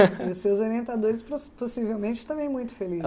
E os seus orientadores possivelmente também muito